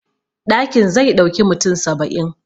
Ɗakin zai ɗauki mutum saba'in